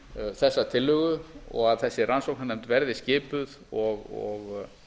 þessa tillögu og að þessi rannsóknarnefnd verði skipuð og